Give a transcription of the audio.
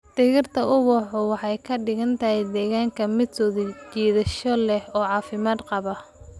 Dhirtu ubaxu waxay ka dhigtaa deegaanka mid soo jiidasho leh oo caafimaad qaba.